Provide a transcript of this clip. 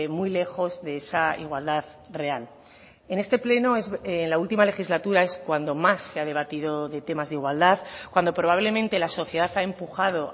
muy lejos de esa igualdad real en este pleno en la última legislatura es cuando más se ha debatido de temas de igualdad cuando probablemente la sociedad ha empujado